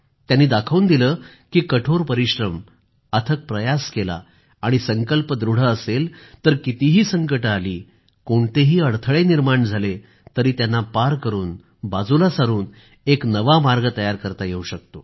त्यांनी दाखवून दिलं की कठोर परिश्रम अथक प्रयास केला आणि संकल्प दृढ असेल तर कितीही संकटं आली कोणतेही अडथळे निर्माण झाले तरी त्यांना पार करून बाजूला सारून एक नवा मार्ग तयार करता येवू शकतो